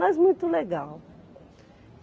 Mas muito legal.